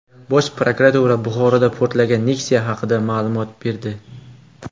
Bosh prokuratura Buxoroda portlagan Nexia haqida ma’lumot berdi.